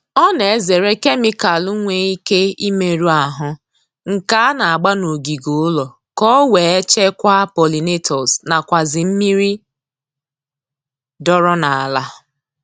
Ọ na-ezere kemikalu nwe ike imerụ ahụ nke a na-agba n'ogige ụlọ ka o wee chekwaa polinatọs nakwazi mmiri dọọrọ n'ala